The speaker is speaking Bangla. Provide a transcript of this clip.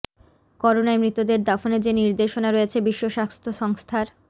করোনায় মৃতদের দাফনে যে নির্দেশনা রয়েছে বিশ্ব স্বাস্থ্য সংস্থার